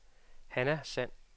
Hanna Sand